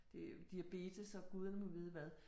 Det diabetes, og guderne må vide hvad